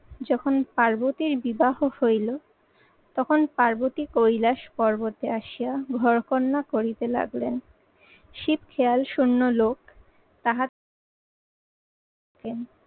যখন পার্বতীর বিবাহ হইল তখন পার্বতী কৈলাস পর্বতে আসিয়া ঘরকন্যা করিতে লাগলেন। শীত খেয়াল শুন্য লোক তাহা